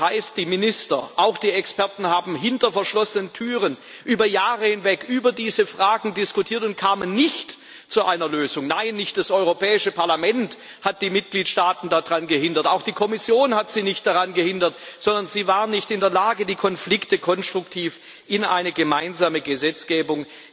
Das heißt, die Minister, auch die Experten, haben hinter verschlossenen Türen über Jahre hinweg über diese Fragen diskutiert und kamen nicht zu einer Lösung. Nein, nicht das Europäische Parlament hat die Mitgliedstaaten daran gehindert, auch die Kommission hat sie nicht daran gehindert, sondern sie waren nicht in der Lage, die Konflikte konstruktiv in eine gemeinsame Gesetzgebung